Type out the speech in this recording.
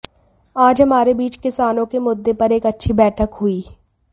आज हमारे बीच किसानों के मुद्दे पर एक अच्छी बैठक हुई